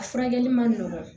A furakɛli man nɔgɔn